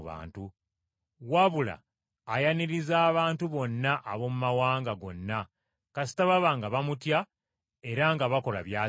wabula ayaniriza abantu bonna ab’omu mawanga gonna kasita baba nga bamutya era nga bakola by’asiima.